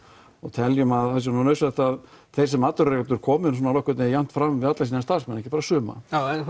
teljum að það sé nauðsynlegt að þeir sem atvinnurekendur komi nú nokkuð jafnt fram við alla sína starfsmenn ekki bara suma